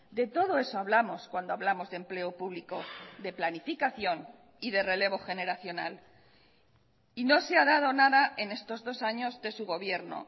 de todo eso hablamos cuando hablamos de empleo público de planificación y de relevo generacional y no se ha dado nada en estos dos años de su gobierno